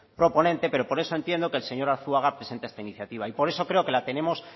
proponente pero por eso entiendo que el señor arzuaga presenta esta iniciativa y por eso creo que la tenemos